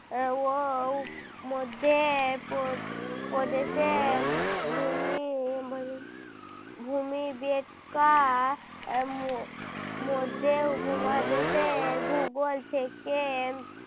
আহ ঔ মধ্যে পো~ প্রদেশে ভূমি ভূমি আহ ম~ মধ্যে উপমহাদেশের ভূগোল থেকে